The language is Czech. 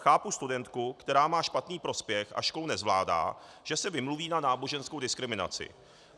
Chápu studentku, která má špatný prospěch a školu nezvládá, že se vymluví na náboženskou diskriminaci.